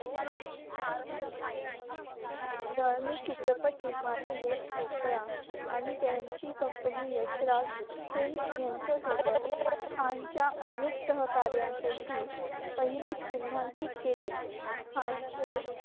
धार्मिक चित्रपट निर्माते यश चौपरा आणि त्यांची कंपनी यशराज film यांच्यासोबत खानच्या अनेक सहकार्यांपैकी पहिले चिन्हांकित केले. खानचे